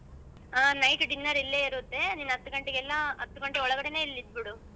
night dinner ಇಲ್ಲೇ ಏರುತ್ತೆ ನಿನ್ ಹತಗಂಟೆಗ್ ಎಲ್ಲಾ ಹತಗಂಟೆ ಒಳ್ಗಡೆನೆ ನೀನ್ ಇಲ್ಲಿದ್ಬಿಡು.